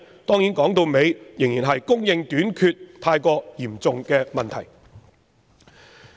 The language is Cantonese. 當然，說到底仍然是供應短缺太嚴重的問題。